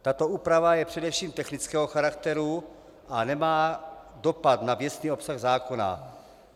Tato úprava je především technického charakteru a nemá dopad na věcný obsah zákona.